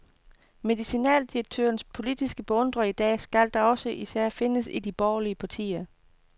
Medicinaldirektørens politiske beundrere i dag skal da også især findes i de borgerlige partier.